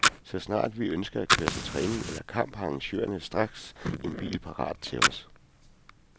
Så snart vi ønsker at køre til træning eller kamp, har arrangørerne straks en bil parat til os.